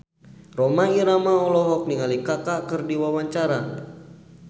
Rhoma Irama olohok ningali Kaka keur diwawancara